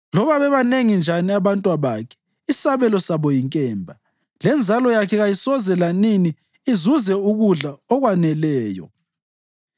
Loba bebanengi njani abantwabakhe, isabelo sabo yinkemba; lenzalo yakhe kayisoze lanini izuze ukudla okwaneleyo.